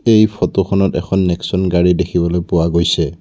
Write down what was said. এই ফটোখনত এখন নেক্সন গাড়ী দেখিবলৈ পোৱা গৈছে।